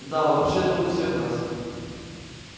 да в общем-то у всех нас